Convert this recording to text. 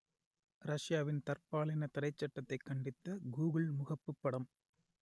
ரஷ்யாவின் தற்பாலின தடைச் சட்டத்தைக் கண்டித்து கூகுள் முகப்புப் படம்